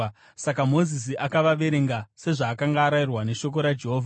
Saka Mozisi akavaverenga. Sezvaakanga arayirwa neshoko raJehovha.